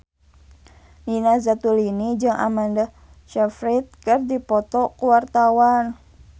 Nina Zatulini jeung Amanda Sayfried keur dipoto ku wartawan